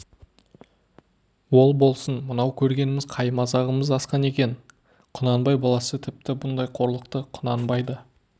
ол болсын мынау көргеніміз қай мазағымыз асқан екен құнанбай баласы тіпті бұндай қорлықты құнанбай да